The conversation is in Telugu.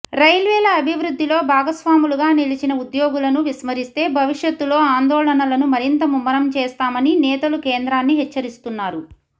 రైల్వేల అభివృద్ధిలో భాగస్వాములుగా నిలిచిన ఉద్యోగులను విస్మరిస్తే భవిష్యత్తులో ఆందోళనలను మరింత ముమ్మరం చేస్తామని నేతలు కేంద్రాన్ని హెచ్చరిస్తున్నారు